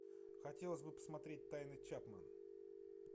хотелось бы посмотреть тайны чапман